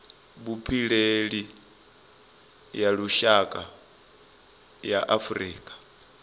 vhupileli ya lushaka ya afurika